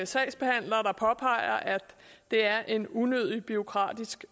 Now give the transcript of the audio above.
sagsbehandlere der påpeger at det er en unødig bureaukratisk